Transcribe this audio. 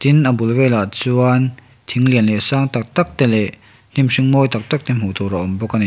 tin a bul velah chuan thing lian leh sang tak tak te leh hnim hring mawi tak tak te hmuh tur a awm bawk a ni.